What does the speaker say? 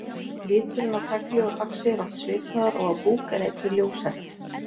Liturinn á tagli og faxi er oft svipaður og á búk en einnig ljósari.